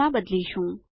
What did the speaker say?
માં બદલીશું